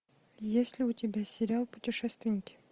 есть ли у тебя сериал путешественники